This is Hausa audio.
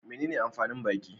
Menene amfanin baki?